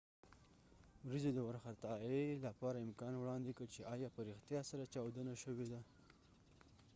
ورېځو د وار خطا يۍ لپاره امکان وړاندې کړ چې ایا په ریښتیا سره چاودنه شوی ده